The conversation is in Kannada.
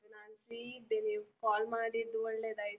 ಹೌದ ಅದು ನಾನು free ಇದ್ದೇನೆ, call ಮಾಡಿದ್ದು ಒಳ್ಳೆದಾಯಿತು.